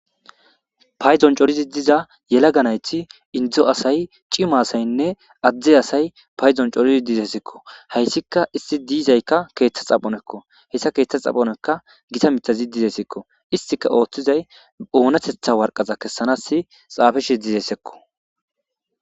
payzon corizi diza yela ganayti indzo asay cima asaynne adde asay payzon corizi dizesekko hayssika isti diizaykka keeththa xaphonekko hessa keeththa xaphonekka gita mitazi dizesekko istika ooththizay oonatetha warqaza kessanasi xaafishi dizessekko